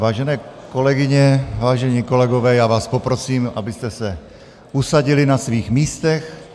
Vážené kolegyně, vážení kolegové, já vás poprosím, abyste se usadili na svých místech.